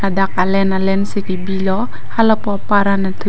dak alen alen si kebilo halapu apar anat thu--